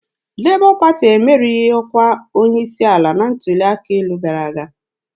Lebọ Pati emerighị ọkwa onye isi ala na ntuli aka elu gara aga.